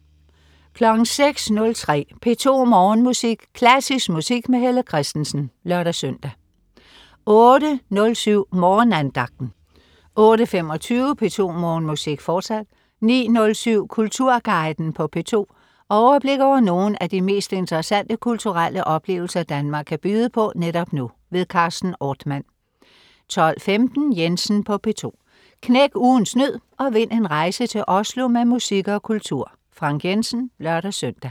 06.03 P2 Morgenmusik. Klassisk musik med Helle Kristensen (lør-søn) 08.07 Morgenandagten 08.25 P2 Morgenmusik, fortsat 09.07 Kulturguiden på P2. Overblik over nogle af de mest interessante kulturelle oplevelser, Danmark kan byde på netop nu. Carsten Ortmann 12.15 Jensen på P2. Knæk ugens nød og vind en rejse til Oslo med musik og kultur. Frank Jensen (lør-søn)